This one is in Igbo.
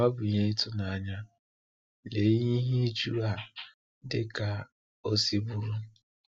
Ọ bụ ihe ịtụnanya, lee ihe ịjụ a dị ka o si bụrụ.